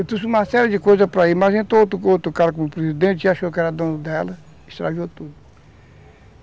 Eu trouxe uma série de coisas para ir, mas entrou outro cara como presidente e achou que era dono dela, estragou tudo.